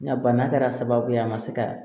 Nka bana kɛra sababu ye an ma se ka